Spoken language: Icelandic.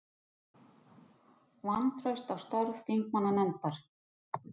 Vantraust á störf þingmannanefndar